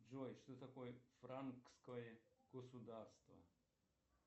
джой что такое франкское государство